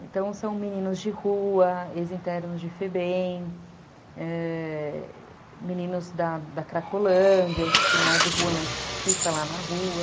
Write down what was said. Então, são meninos de rua, ex-internos de Febem, meninos da Cracolândia, que não é de rua, mas que fica lá na rua.